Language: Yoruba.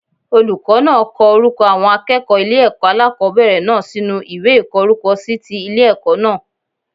Olùkó náà ko orúko àwọn akéèkòó ile èkó alákòóbèrè náà sínú ìwé ìkó orúkọ si ti Ile èkó náà